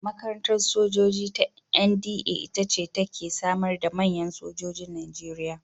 Makarantar sojoji ta NDA ita ce ta ke samar da manyan sojojin Najeriya.